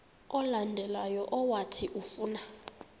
olandelayo owathi ufuna